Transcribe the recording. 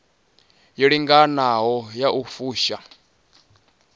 yo linganaho ya u fusha